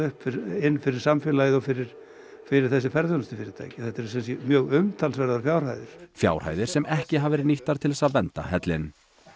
inn fyrir samfélagið og fyrir fyrir þessi ferðaþjónustufyrirtæki þetta eru mjög umtalsverðar fjárhæðir fjárhæðir sem ekki hafa verið nýttar til þess að vernda hellinn